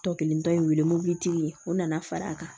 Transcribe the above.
Tɔ kelen tɔ ye wele mobilitigi ye o nana far'a kan